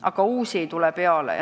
Aga uusi ei tule peale.